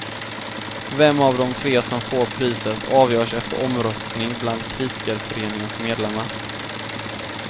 Vem av de tre som får priset avgörs efter omröstning bland kritikerföreningens medlemmar.